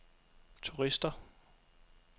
turister